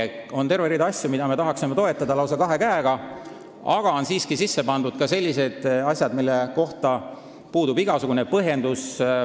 Selles on terve hulk asju, mida me tahaksime lausa kahe käega toetada, aga siia on sisse pandud ka sellised asjad, millel puudub igasugune põhjendus.